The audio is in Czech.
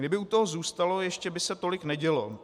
Kdyby u toho zůstalo, ještě by se tolik nedělo.